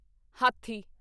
ਹਾਥੀ